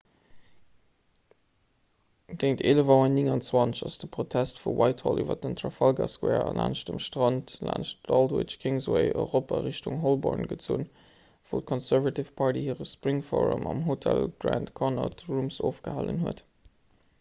géint 11.29 auer ass de protest vu whitehall iwwer den trafalgar square a laanscht dem strand laanscht aldwych d'kingsway erop a richtung holborn gezunn wou d'conservative party hire spring forum am hotel grand connaught rooms ofgehalen huet